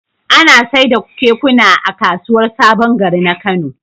Ana saida kekuna a kasuwar sabon gari na kano